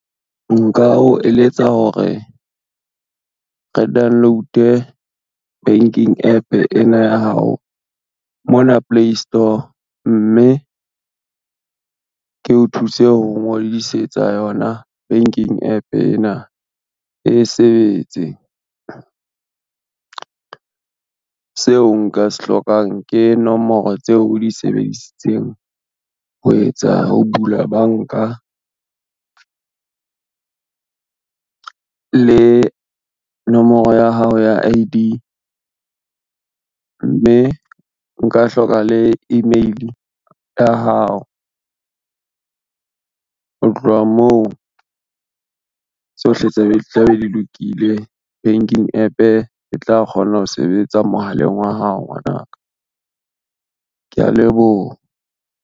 Nka o eletsa hore, re download-e banking app ena ya hao mona playstore mme, ke o thuse ho ngodisetsa yona banking app ena e sebetse. Seo nka se hlokang ke nomoro tseo o di sebedisitseng ho bula banka, le nomoro ya hao ya I_D, mme nka hloka le email ya hao. Ho tloha moo tsohle tla be di lokile banking app e tla kgona ho sebetsa mohaleng wa hao ngwanaka, kea leboha.